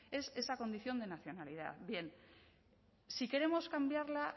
es esa condición de nacionalidad bien si queremos cambiarla